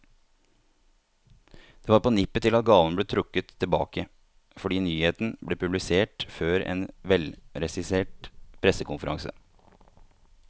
Det var på nippet til at gaven ble trukket tilbake, fordi nyheten ble publisert før en velregissert pressekonferanse.